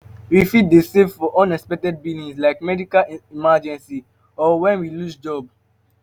We fit dey save for unexpected billing like medical emergency or when we lose job